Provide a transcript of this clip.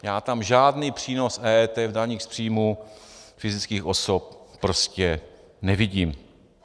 Já tam žádný přínos EET v daních z příjmů fyzických osob prostě nevidím.